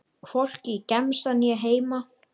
Hvorki í gemsann né heima.